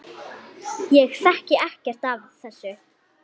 Ég þekki ekkert af þessu.